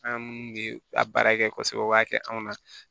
An minnu bɛ a baara kɛ kosɛbɛ o b'a kɛ anw na